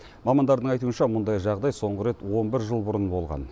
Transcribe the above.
мамандардың айтуынша мұндай жағдай соңғы рет он бір жыл бұрын болған